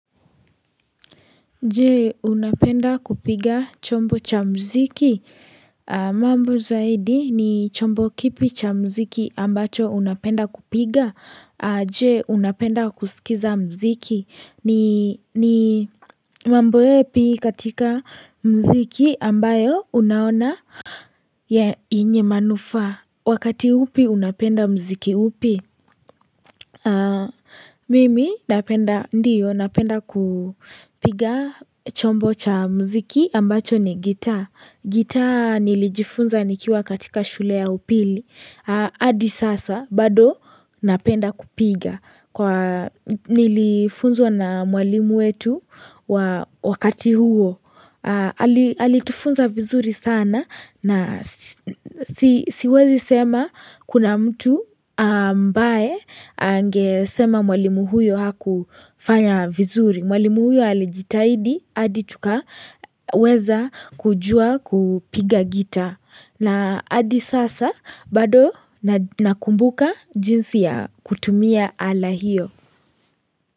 Je unapenda kupiga chombo cha muziki mambo zaidi ni chombo kipi cha muziki ambacho unapenda kupiga Je unapenda kusikiza muziki ni mambo yapi katika muziki ambayo unaona yenye manufaa Wakati upi unapenda muziki upi Mimi napenda ndiyo napenda kupiga chombo cha muziki ambacho ni gitaa gitaa nilijifunza nikiwa katika shule ya upili hadi sasa bado napenda kupiga Nilifunzwa na mwalimu wetu wakati huo Alitufunza vizuri sana na siwezi sema kuna mtu ambaye angesema mwalimu huyo hakufanya vizuri. Mwalimu huyo alijitahidi hadi tukaweza kujua kupiga gitaa. Na hadi sasa bado nakumbuka jinsi ya kutumia ala hiyo.